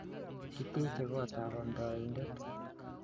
Kiteche kot ap amndaindet